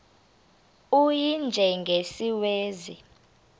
u y njengesiwezi